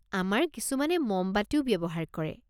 আমাৰ কিছুমানে মমবাতিও ব্যৱহাৰ কৰে।